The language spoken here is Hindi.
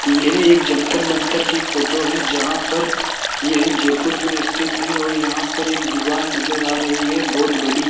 यह एक जंतर मंतर की फोटो है जहां पर यह जयपुर में स्थित है और यहां पर एक दीवार नजर आ रही है बहोत बड़ी।